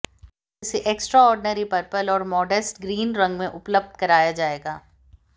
इसे extraordinary purple और modest green रंग में उपलब्ध कराया जाएगा